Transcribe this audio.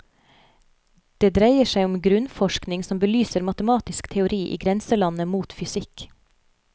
Det dreier seg om grunnforskning som belyser matematisk teori i grenselandet mot fysikk.